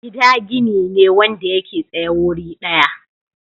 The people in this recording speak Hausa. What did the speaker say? Gida gini ne wanda yake tsaye wuri daya.